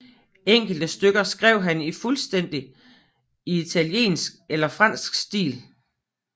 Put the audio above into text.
Enkelte stykker skrev han fuldstændig i italiensk eller fransk stil